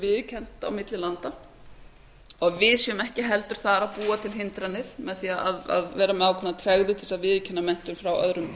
viðurkennd á milli landa og við séum ekki heldur þar að búa til hindranir með því að vera með ákveðna tregðu til að viðurkenna menntun frá öðrum